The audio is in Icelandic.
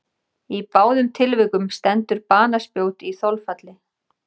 Í báðum tilvikum stendur banaspjót í þolfalli.